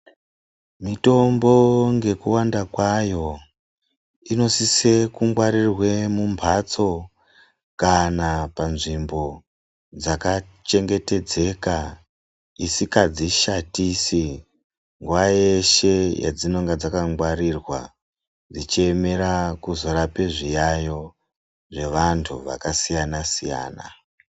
Mitombo ngekuwanda kwayo inosise kungwarirwe mumbatso kana panzvimbo dzakachengetedzeka isikadzishatisi nguwa yeshe yadzinonga dzakangwarirwa dzichiemera kuzorape zviyayo zvevantu vakasiyana-siyana.